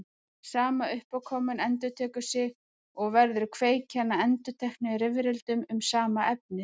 Sama uppákoman endurtekur sig og verður kveikjan að endurteknum rifrildum um sama efnið.